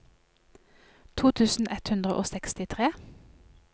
to tusen ett hundre og sekstitre